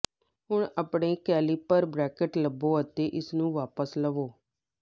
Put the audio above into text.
ਹੁਣ ਆਪਣੇ calliper bracket ਲਵੋ ਅਤੇ ਇਸਨੂੰ ਵਾਪਸ ਲਵੋ